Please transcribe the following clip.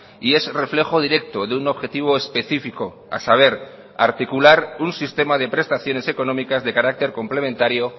y es reflejo directo de un objetivo específico a saber articular un sistema de prestaciones económicas de carácter complementario